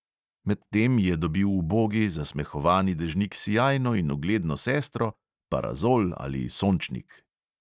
Medtem je dobil ubogi, zasmehovani dežnik sijajno in ugledno sestro – parazol ali sončnik.